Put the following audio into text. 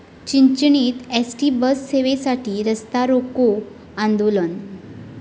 चिंचणीत ST बससेवेसाठी रास्तारोको आंदोलन